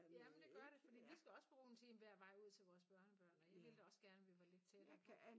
Ja men det gør det fordi vi skal også bruge en time hver vej ud til vores børnebørn og jeg ville da også gerne vi var lidt tættere på